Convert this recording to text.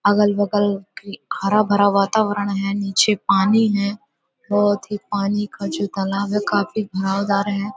अगल बगल हरा भरा वातावरण हैं नीचे पानी हैं। बहोत ही पानी का जो तालाब है काफ़ी बहावदार है।